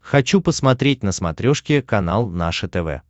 хочу посмотреть на смотрешке канал наше тв